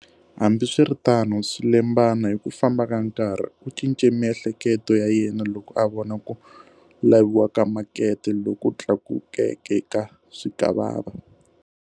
Hambiswiritano, swilembana hi ku famba ka nkarhi, u cince miehleketo ya yena loko a vona ku laviwa ka makete loku tlakukeke ka swikwavava.